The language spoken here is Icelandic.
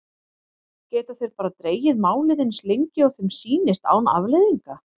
Geta þeir bara dregið málið eins lengi og þeim sýnist án afleiðinga?